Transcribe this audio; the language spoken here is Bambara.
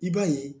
I b'a ye